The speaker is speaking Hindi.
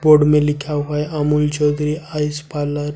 बोर्ड में लिखा हुआ है अमूल चौधरी आइस पार्लर ।